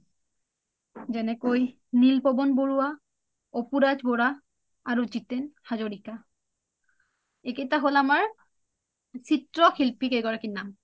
যেনেকৈ neil পৱন বৰুৱা অপুৰাজ bora, আৰু জিটেন হাজাৰিকা এইকেইটা হ’ল আমাৰ চিএশিল্পী কেই গৰাকীৰ নাম